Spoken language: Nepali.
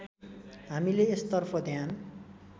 हामीले यसतर्फ ध्यान